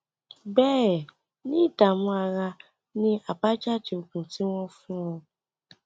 béè ni ìdààmú ara ni àbájáde oògùn tí wọn fún ọ